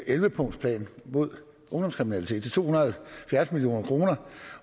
elleve punktsplan mod ungdomskriminalitet til to hundrede